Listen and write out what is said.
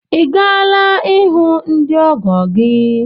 I gaala ihu ndị ọgọ gị?